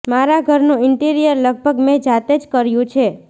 મારા ઘરનું ઇન્ટીરિયર લગભગ મેં જાતે જ કર્યું છે